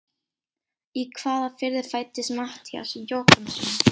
Í hvaða firði fæddist Matthías Jochumsson?